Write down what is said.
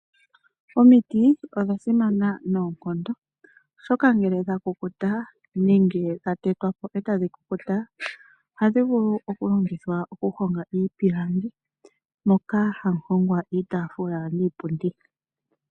Omiti odha simana noonkondo, oshoka ngele dha kukuta nenge dha tetwa po etadhi kukuta ohadhi vulu okulongithwa okuhonga iipilangi moka hamu hongwa iitaafula niipundi.